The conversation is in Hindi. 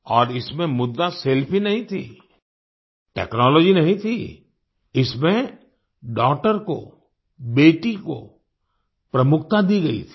और इसमें मुद्दा सेल्फी नहीं थी टेक्नोलॉजी नहीं थी इसमें डॉगटर को बेटी को प्रमुखता दी गयी थी